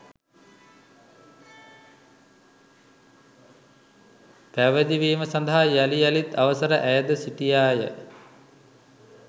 පැවිදිවීම සඳහා යළි යළිත් අවසර අයැද සිටියාය